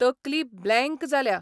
तकली ब्लँक जाल्या.